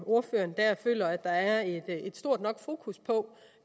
ordføreren at der er et stort nok fokus på